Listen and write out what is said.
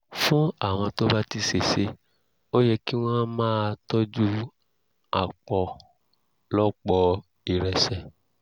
fún àwọn tó bá ti ṣèṣe ó yẹ kí wọ́n máa tọ́jú àpọ̀lọpọ̀ ìrẹsẹ̀